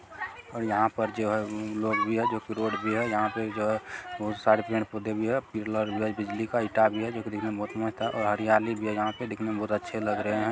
और यहाँ पर जो है अम्म लोग भी हैं। जो कि रोड भी है। यहाँ पे जो है बहुत सारे पेड़ पौधे भी हैं। पिलर विलर बिजली का भी है जो कि दिखने में बहुत मस्त है और हरियाली भी है यहाँ पे जो दिखने मे बहुत अच्छे लग रहे हैं।